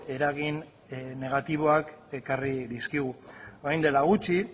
eragin negatiboak ekarri dizkigu orain dela gutxi